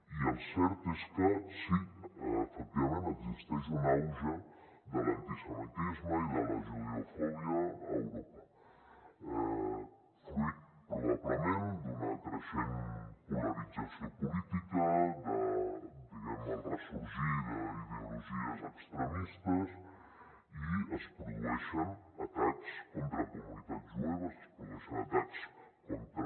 i el cert és que sí efectivament existeix un auge de l’antisemitisme i de la judeofòbia a europa fruit probablement d’una creixent polarització política del ressorgir d’ideologies extremistes i es produeixen atacs contra comunitats jueves es produeixen atacs contra